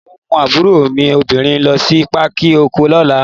Mò ń mú àbúrò mi obìnrin lo sí Pákì ọkọ̀ lọ́la.